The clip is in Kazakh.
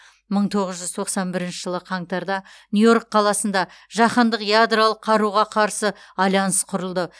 мың тоғыз жүз тоқсан бірінші жылы қаңтарда нью йорк қаласында жаһандық ядролық қаруға қарсы альянс құрылды